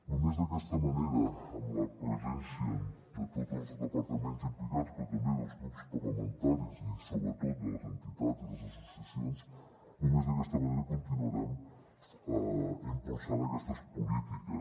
només d’aquesta manera amb la presència de tots els departaments implicats però també dels grups parlamentaris i sobretot de les entitats i les associacions continuarem impulsant aquestes polítiques